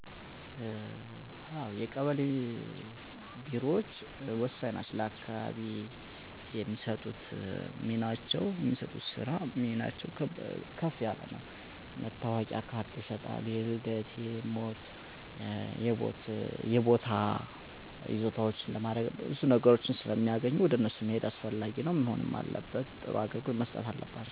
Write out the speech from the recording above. በማህበረሰቡ ውስጥ ያሉ ነዋሪዎች ለብዙ አስፈላጊ ምክንያቶች የቀበሌ ቢሮን ይጎበኛሉ። እነዚህም አዲስ የመታወቂያ ካርዶችን ለማውጣት ወይም ለማሳደስ፣ የነዋሪ ማረጋገጫ ደብዳቤዎችን መጠየቅ፣ እንደ መኖሪያ ቤት ወይም ከመሬት ጋር የተያያዙ ሰነዶች ላሉ አገልግሎቶች ለማመልከት እና ለማህበራዊ ወይም ህጋዊ ጉዳዮች የድጋፍ ደብዳቤዎችን ማግኘት ያካትታሉ። አንዳንዶች እንደ ጋብቻ፣ መውለድ ወይም ሞት ያሉ በቤተሰብ ሁኔታ ላይ የሚኖሩ ለውጦችን ሪፖርት ለማድረግ ወይም ለችግር ተጋላጭ ሁኔታዎችን ለማሳወቅ ወይም ድጋፍን ለማግኘት ቢሮውን ይጎበኛሉ።